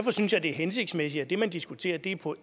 en god